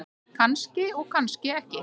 Kannski og kannski ekki.